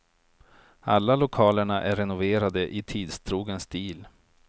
Alla lokalerna är renoverade i tidstrogen stil.